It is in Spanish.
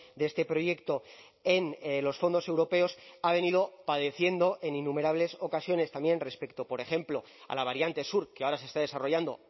de este proyecto en los fondos europeos ha venido padeciendo en innumerables ocasiones también respecto por ejemplo a la variante sur que ahora se está desarrollando